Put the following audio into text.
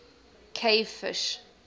cave fish